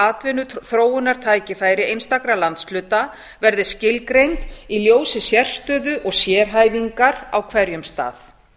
atvinnuþróunartækifæri einstakra landshluta verði skilgreind í ljósi sérstöðu og sérhæfingar á hverjum stað